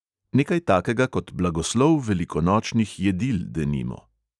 Nekaj takega kot blagoslov velikonočnih jedil denimo.